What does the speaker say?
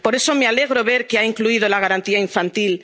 necesitan. Por eso me alegra ver que ha incluido la Garantía